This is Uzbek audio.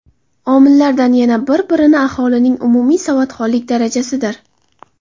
Omillardan yana bir biri aholining umumiy savodxonlik darajasidir.